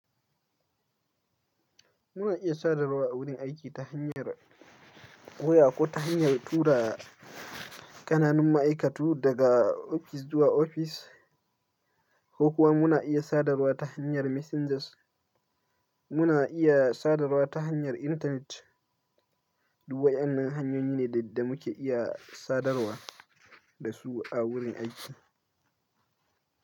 Muna iya sadarwa a wurin aiki ta hanyar waya ko ta hanyar tura ƙananun ma'aikatu daga ofis zuwa ofis, ko kuwa muna iya sadarwa ta hanyar messengers. Muna iya sadarwa ta hanyar intanet. Duk waɗannan hanyoyi ne da muke iya sadarwa da su a wurin aiki.